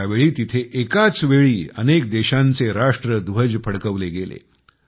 त्यावेळी तिथे एकाच वेळी अनेक देशांचे राष्ट्रध्वज फडकवले गेले